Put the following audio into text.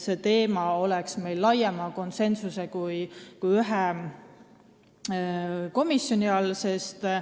See teema peaks meil olema laiema ringi kui ainult ühe komisjoni arutelu all.